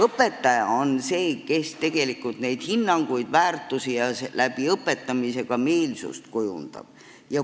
Õpetaja on see, kes neid hinnanguid ja väärtusi ning õpetamise kaudu ka meelsust kujundab.